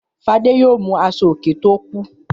Fadé yóò mú aṣọòkè tó kù.